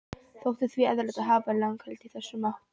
Þótti því eðlilegt að hafa lagaheimild í þessa átt.